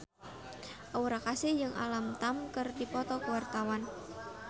Aura Kasih jeung Alam Tam keur dipoto ku wartawan